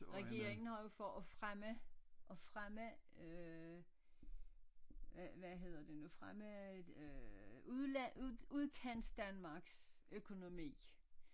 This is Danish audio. Regeringen har jo for at fremme at fremme øh hvad hvad hedder det nu fremme øh øh udland Udkantsdanmarks økonomi